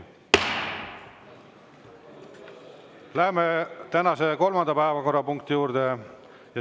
Läheme tänase kolmanda päevakorrapunkti juurde.